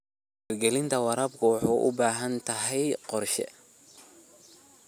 Hirgelinta waraabku waxay u baahan tahay qorshe.